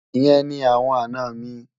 Ìyẹn ni awọn àná mi.